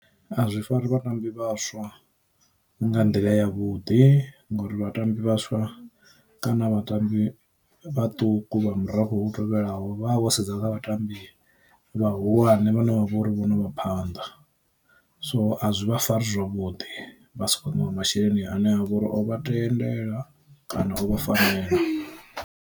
A zwi fari vhatambi vhaswa nga nḓila ya vhuḓi ngori vhatambi vhaswa kana vhatambi vhaṱuku vha murafho u tevhelaho, vha vho sedza na vhatambi vhahulwane vhana vhavho uri vho no vha phanḓa. So a zwi vha fari zwavhudi vha si khou ṋeiwa masheleni ane a vha uri o vha tendela kana o fanela.